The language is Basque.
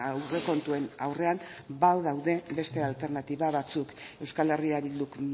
aurrekontuen aurrean badaude beste alternatiba batzuk euskal herria bilduk